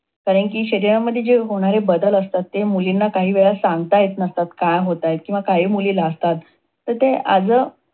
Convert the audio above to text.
पण आहे की शरीरामध्ये होणारे जे बदल असतात. ते मुलींना काहीवेळा सांगता येत नसतात, किंवा काय होताय? किंवा काही मुली लाजतात. तर ते as a